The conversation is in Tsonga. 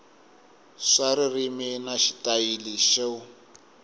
swa ririmi na xitayili xo